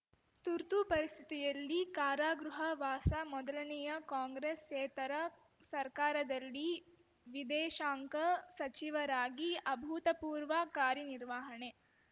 ತುರ್ತುಪರಿಸ್ಥಿತಿಯಲ್ಲಿ ಕಾರಾಗೃಹ ವಾಸ ಮೊದಲನೆಯ ಕಾಂಗ್ರೆಸ್ಸೇತರ ಸರ್ಕಾರದಲ್ಲಿ ವಿದೇಶಾಂಗ ಸಚಿವರಾಗಿ ಅಭೂತಪೂರ್ವ ಕಾರ್ಯನಿರ್ವಹಣೆ